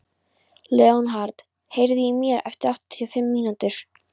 Leonhard, heyrðu í mér eftir áttatíu og fimm mínútur.